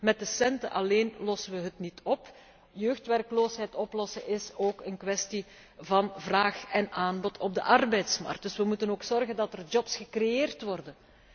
ESF. Met de centen alleen lossen we het niet op. Jeugdwerkloosheid oplossen is ook een kwestie van vraag en aanbod op de arbeidsmarkt. We moeten er dus ook voor zorgen dat er jobs gecreëerd